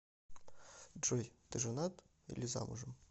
джой ты женат или замужем